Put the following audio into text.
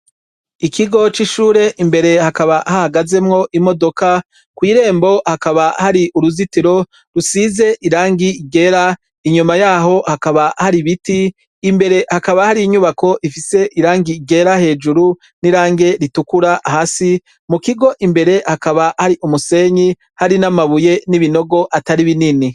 Ikigo c'ishure imbere hakaba hahagazemwo imodoka kw'irembo hakaba hari uruzitiro rusize irangi igera inyuma yaho hakaba hari ibiti imbere hakaba hari inyubako ifise irangi igera hejuru n'irange ritukura hasi mu kigo imbere hakaba hari umusenyi hari n'amabuye n'ibinogo atari binini.